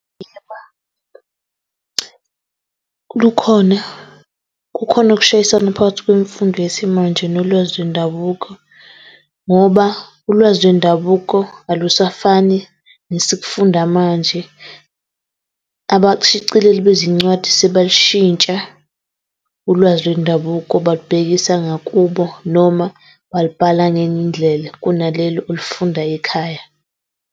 kukhona kukhona ukushayisana phakathi kwemfundo yesimanje nolwazi lwendabuko. Ngoba ulwazi lwendabuko alusafani nesikufunda manje. Abashicileli bezincwadi sebalishintsha ulwazi lwendabuko balibhekisa ngakubo noma balibhala ngenye indlela kunalelo olifundayo ekhaya.